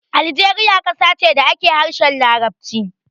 Aljeriya ƙasa ce da ake harshen Larabci.